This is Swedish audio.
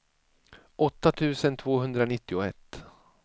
åtta tusen tvåhundranittioett